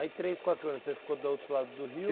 Aí três, quatro anos, você ficou do outro lado do rio?